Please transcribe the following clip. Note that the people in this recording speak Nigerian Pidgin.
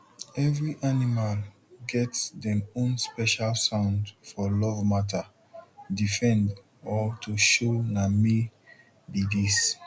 every animal get dem own special sound for love matter defend or to show na me be dis